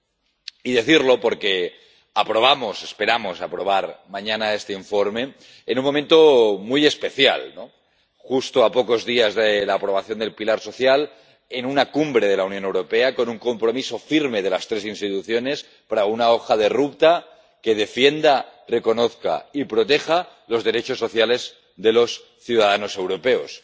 Y hay que decirlo porque aprobamos —esperamos aprobar— mañana este informe, en un momento muy especial, justo a pocos días de la aprobación del pilar social, en una cumbre de la Unión Europea, con un compromiso firme de las tres instituciones para una hoja de ruta que defienda, reconozca y proteja los derechos sociales de los ciudadanos europeos.